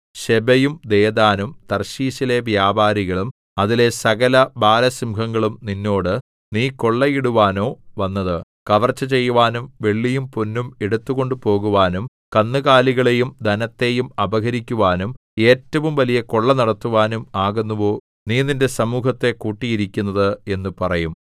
ശെബയും ദെദാനും തർശീശിലെ വ്യാപാരികളും അതിലെ സകലബാലസിംഹങ്ങളും നിന്നോട് നീ കൊള്ളയിടുവാനോ വന്നത് കവർച്ച ചെയ്യുവാനും വെള്ളിയും പൊന്നും എടുത്തു കൊണ്ടുപോകുവാനും കന്നുകാലികളെയും ധനത്തെയും അപഹരിക്കുവാനും ഏറ്റവും വലിയ കൊള്ള നടത്തുവാനും ആകുന്നുവോ നീ നിന്റെ സമൂഹത്തെ കൂട്ടിയിരിക്കുന്നത് എന്നു പറയും